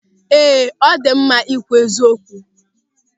Ee, ọ dị mma ịkwụ eziokwu.